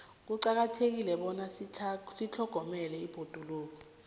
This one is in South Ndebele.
kuqakathekile bona sitlhogomele ibhoduluko